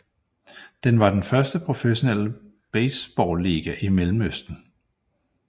Den var den første professionelle baseballiga i Mellemøsten